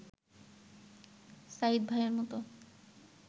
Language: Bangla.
সায়ীদ ভাইয়ের মতো